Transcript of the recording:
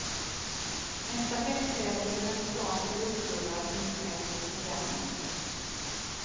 En stafetttävling med stans elitklubbar finns med på programmet.